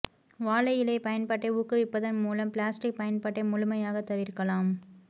வாழை இலை பயன்பாட்டை ஊக்குவிப்பதன் மூலம் பிளாஸ்டிக் பயன்பாட்டை முழுமையாக தவிர்க்கலாம்